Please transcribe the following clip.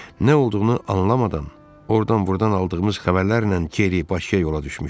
Nə olduğunu anlamadan, ordan-burdan aldığımız xəbərlərlə geri Bakıya yola düşmüşdük.